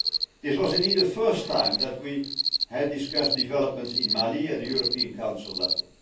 Mali. This was indeed the first time that we had discussed developments in Mali at European Council